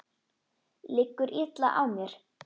Liggur illa á mér?